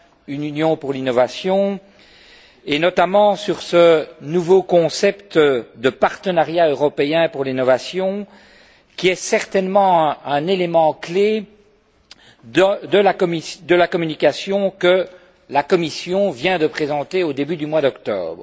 Une Union pour l'innovation, et notamment sur ce nouveau concept de partenariat européen pour l'innovation qui est certainement un élément clé de la communication que la Commission vient de présenter au début du mois d'octobre.